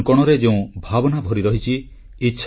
ଆକାଶବାଣୀ ମାଧ୍ୟମରେ ମନର କଥା କହୁ କହୁ ତିନିବର୍ଷ ପୁରିଗଲାଣି